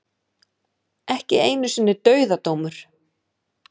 Ekki einu sinni dauðadómur.